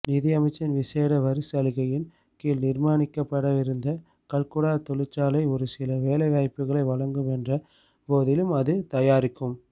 நிதியமைச்சின் விசேட வரிச்சலுகையின் கீழ் நிர்மாணிக்கப்படவிருந்த கல்குடா தொழிற்சாலை ஒருசில வேலைவாய்ப்புகளை வழங்கும் என்ற போதிலும் அது தயாரிக்கும்